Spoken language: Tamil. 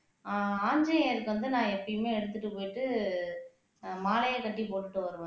ஆஹ் ஆஞ்சநேயருக்கு வந்து நான் எப்பயுமே எடுத்துட்டு போயிட்டு அஹ் மாலையா கட்டி போட்டுட்டு வருவேன்